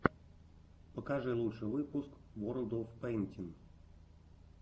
покажи лучший выпуск ворлд оф пэйнтин